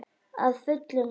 Að fullu og öllu.